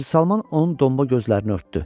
Hacı Salman onun donuq gözlərini örtdü.